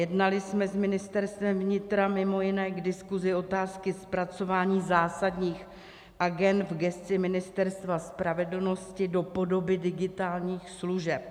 Jednali jsme s Ministerstvem vnitra mimo jiné k diskusi otázky zpracování zásadních agend v gesci Ministerstva spravedlnosti do podoby digitálních služeb.